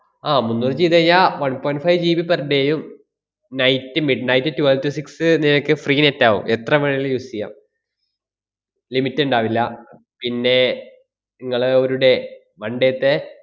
ആഹ് മുന്നൂറ് ചെയ്തു കഴിഞ്ഞാ one point 5 GB per day ഉം night midnight twelve to six നിങ്ങക്ക് free net ആവും. എത്ര വേണേലും use ചെയ്യാം limit ഇണ്ടാവില്ല പിന്നെ ~ങ്ങള് ഒരു day one day ത്തെ